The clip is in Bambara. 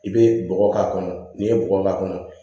I bɛ bɔgɔ k'a kɔnɔ n'i ye bɔgɔ k'a kɔnɔ